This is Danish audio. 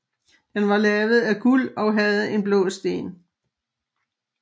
Den var lavet af guld og havde en blå sten